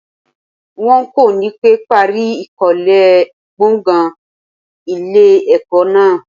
Wọ́n kò ní pẹ́ parí ìkólé gbọ̀gàn ilé ẹ̀kọ́ náà.